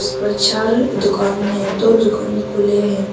पर चार दुकान हैं दो दुकान खुले हैं।